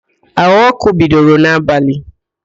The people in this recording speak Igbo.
Áhụ̀ ọ́kụ́ bidoro n'abalị